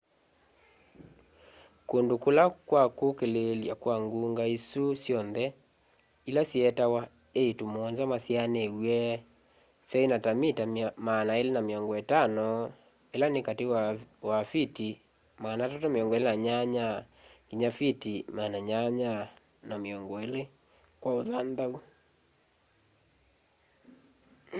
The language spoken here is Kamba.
kundu kwa kulililya kwa ngunga isu syonthe ila syeetawa iiitu muonza masyaaniw'e syaina ta mita 250 ila ni kati wa fiti 328 nginya fiti 820 kwa uthanthau